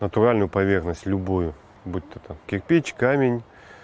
натуральную поверхность любую будто там кирпич камень